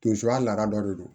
Tinsoya laada dɔ de don